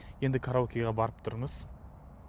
енді караокеге барып тұрыңыз